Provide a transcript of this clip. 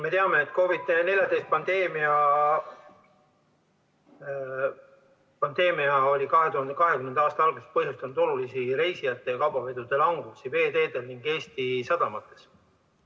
Me teame, et COVID-19 pandeemia põhjustas 2020. aasta alguses olulist reisijate ja kaubaveo vähenemist veeteedel ning Eesti sadamates.